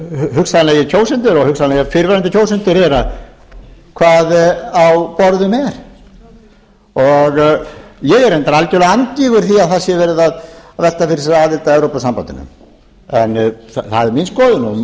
hugsanlegir kjósendur og hugsanlegir fyrrverandi kjósendur þeirra hvað á borðinu er ég er reyndar algjörlega andvígur því að það sé verið að velta fyrir sér aðild að evrópusambandinu það er mín skoðun